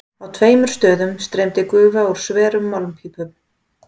Á tveimur stöðum streymdi gufa úr sverum málmpípum.